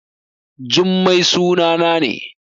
Jummai sunana ne